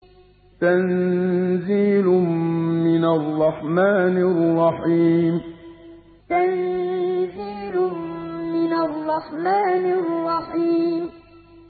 تَنزِيلٌ مِّنَ الرَّحْمَٰنِ الرَّحِيمِ تَنزِيلٌ مِّنَ الرَّحْمَٰنِ الرَّحِيمِ